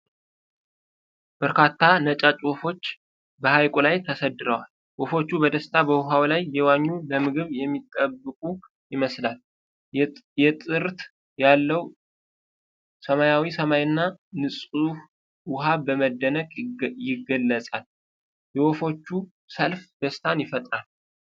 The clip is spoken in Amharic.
በርካታ ነጫጭ ወፎች በሐይቁ ላይ ተሰድረዋል። ወፎቹ በደስታ በውሃው ላይ እየዋኙ፣ ለምግብ የሚጠብቁ ይመስላል። የጥርት ያለው ሰማያዊ ሰማይና ንጹህ ውሃ በመደነቅ የገልጻል። የወፎቹ ሰልፍ ደስታን ይፈጥራል።